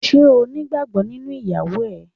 Ṣé o nígbàgbọ́ nínú ìyàwó rẹ?